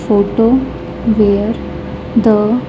Photo where the--